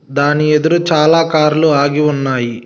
దాని ఎదురు చాలా కార్లు ఆగి ఉన్నాయి.